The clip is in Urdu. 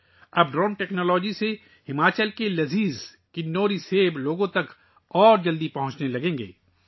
اب ڈرون ٹیکنالوجی کی مدد سے ہماچل کے مزیدار کنوری سیب لوگوں تک تیزی سے پہنچنے شروع ہو جائیں گے